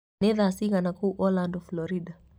nĩ thaa cigana kũũ orlando florida